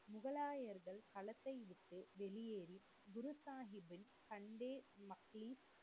முகலாயர்கள் களத்தை விட்டு வெளியேறி குரு சாஹிப் பின் தந்தை மற்றும்